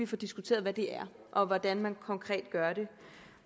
får diskuteret hvad det er og hvordan man konkret gør det